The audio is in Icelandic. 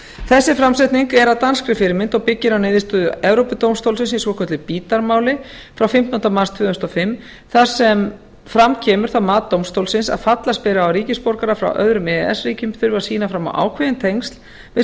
þessi framsetning er að danskri fyrirmynd og byggir á niðurstöðu evrópudómstólsins í svokölluðu bidar máli frá fimmtándu mars tvö þúsund og fimm þar sem fram kemur það mat dómstólsins að fallast beri á að ríkisborgarar frá öðrum e e s ríkjum þurfi að sýna fram á ákveðin tengsl við